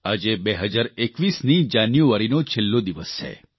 આજે 2021ની જાન્યુઆરીનો છેલ્લો દિવસ છે